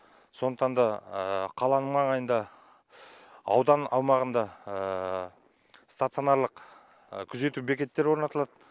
сондықтан да қаланың маңайында аудан аумағында стационарлық күзету бекеттері орнатылады